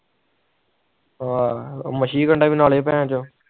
ਆਹ ਵੀ ਨਾਲੇ ਭੇਨਚੋ